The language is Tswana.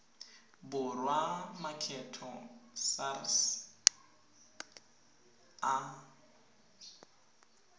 borwa a makgetho sars a